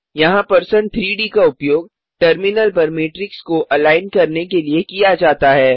यहाँ परसेंट 3डी का उपयोग टर्मिनल पर मैट्रिक्स के अलाइन के लिए किया जाता है